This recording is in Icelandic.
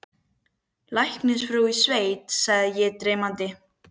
Læknisfrú í sveit sagði ég dreymandi.